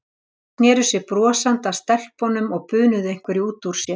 Þeir sneru sér brosandi að stelpunum og bunuðu einhverju út úr sér.